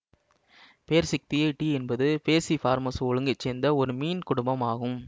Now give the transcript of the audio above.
பேர்சிக்தியை tea என்பது Perciformes ஒழுங்கை சேர்ந்த ஒரு மீன் குடும்பம் ஆகும்